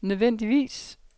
nødvendigvis